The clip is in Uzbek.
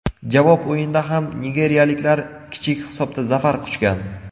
Javob o‘yinida ham nigeriyaliklar kichik hisobda zafar quchgan.